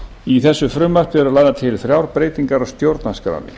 í þessu frumvarpi eru lagðar til þrjár breytingar á stjórnarskránni